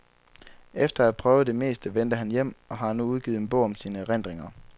Efter at have prøvet det meste vendte han hjem og har nu udgivet en bog om sine erindringer.